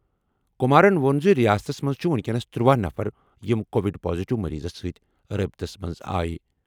کُمارَن ووٚن زِ رِیاستَس منٛز چھِ وُنکیٚنَس 13 نفر یِم کووِڈ پازیٹیو مٔریٖضَس سۭتۍ رٲبطس منٛز آے۔